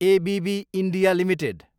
ABB India Ltd